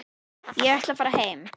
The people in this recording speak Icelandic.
Ég ætla að fara heim.